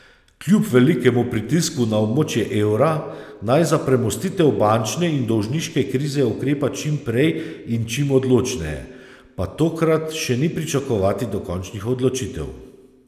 Kljub velikemu pritisku na območje evra, naj za premostitev bančne in dolžniške krize ukrepa čim prej in čim odločneje, pa tokrat še ni pričakovati dokončnih odločitev.